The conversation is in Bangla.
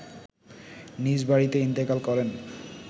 নিজ বাড়িতে ইন্তেকাল করেন